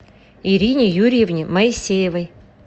ирине юрьевне моисеевой